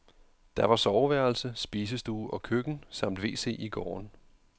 Der var soveværelse, spisestue og køkken samt wc i gården.